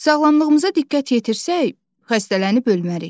Sağlamlığımıza diqqət yetirsək, xəstələnib ölmərik.